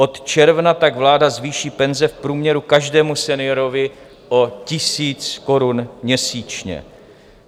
Od června tak vláda zvýší penze v průměru každému seniorovi o tisíc korun měsíčně.